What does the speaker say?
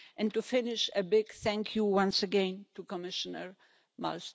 To finish a big thank you once again to Commissioner Malmström.